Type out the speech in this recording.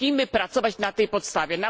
Zacznijmy pracować na tej podstawie.